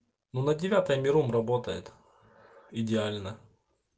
ну на девятое миром работает идеально